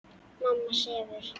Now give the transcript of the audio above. Mamma sefur.